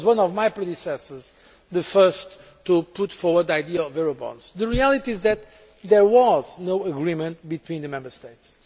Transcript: One of my predecessors was the first to put forward the idea of Eurobonds. The reality is that there was no agreement between the Member States.